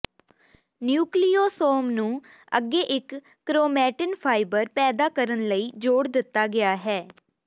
nucleosome ਨੂੰ ਅੱਗੇ ਇਕ ਕਰੋਮੈਟਿਨ ਫਾਈਬਰ ਪੈਦਾ ਕਰਨ ਲਈ ਜੋੜ ਦਿੱਤਾ ਗਿਆ ਹੈ